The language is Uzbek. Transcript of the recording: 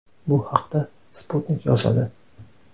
Bu haqda Sputnik yozadi .